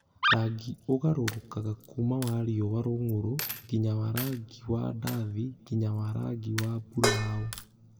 Rangi ũgarũrũkaga kuuma wa riũa-rũng'ũrũ nginya wa rangi wa ndathi nginya wa rangi wa buraũ.